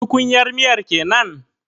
Tukunyar miyar kenan?